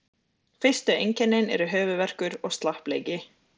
Fyrstu einkennin eru höfuðverkur og slappleiki.